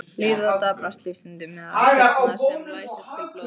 Líða og daprar lífsstundir meðal þyrna sem læsast til blóðs.